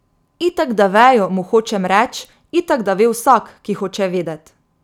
Itak da vejo, mu hočem reč, itak da ve vsak, ki hoče vedet.